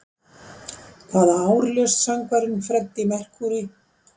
Hvaða ár lést söngvarinn Freddie Mercury?